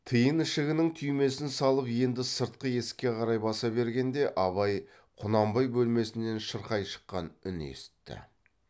тиін ішігінің түймесін салып енді сыртқы есікке қарай баса бергенде абай құнанбай бөлмесінен шырқай шыққан үн есітті